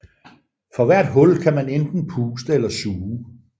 For hvert hul kan man enten puste eller suge